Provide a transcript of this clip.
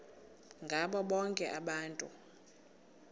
ngabo bonke abantu